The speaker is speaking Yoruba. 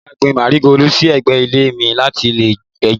Mo máa gbin Márígóòlù sí ẹ̀gbẹ́ ilé mi láti lé ejò